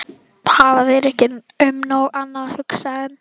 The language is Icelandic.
Hafa þeir ekki um nóg annað að hugsa en.